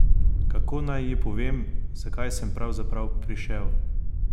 Kako naj ji povem, zakaj sem pravzaprav prišel?